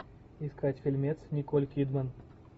искать фильмец николь кидман